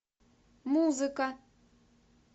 музыка